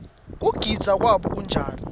kugidza kwabo kunjani